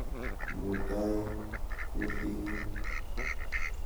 Ng'uto kuting'ung'.